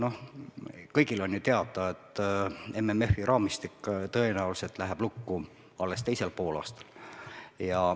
Noh, kõigil on ju teada, et MMF-i raamistik läheb tõenäoliselt lukku alles teisel poolaastal.